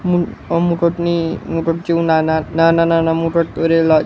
મોદક જેવું નાના નાના નાના મોદક કરેલા--